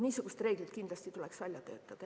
Niisugused reeglid kindlasti tuleks välja töötada.